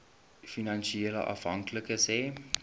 finansiële afhanklikes hê